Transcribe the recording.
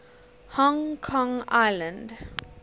hong kong island